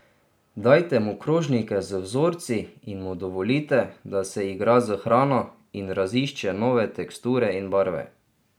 Dajte mu krožnike z vzorci in mu dovolite, da se igra s hrano in razišče nove teksture in barve.